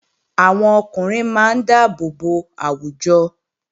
Àwọn ọkùnrin máa dáàbò bo àwùjọ